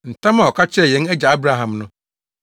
ntam a ɔka kyerɛɛ yɛn agya Abraham no: